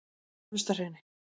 Efstahrauni